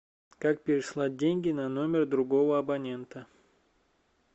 как переслать деньги на номер другого абонента